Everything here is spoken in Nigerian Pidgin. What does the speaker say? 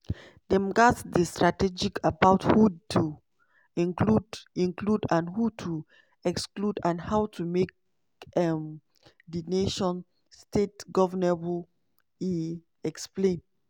"dem gatz dey strategic about who to include include and who to exclude and how to make um di nation-state governable" e explain.